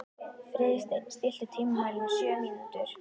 Friðsteinn, stilltu tímamælinn á sjö mínútur.